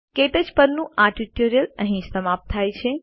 ક્ટચ પરનું આ ટ્યુટોરીયલ અહીં સમાપ્ત થાય છે